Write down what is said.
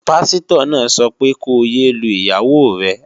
Páṣítọ̀ náà sọ pé ko yé lu ìyàwó rẹ